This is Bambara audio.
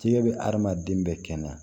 Fiɲɛ bɛ adamaden bɛɛ kɛnɛ na